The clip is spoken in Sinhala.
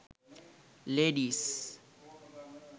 ladies